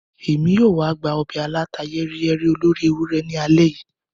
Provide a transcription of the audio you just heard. Emi yoo wa gba obe aláta-yẹ́riyẹ́rí olóri ewurẹ ni alẹ́ yìí.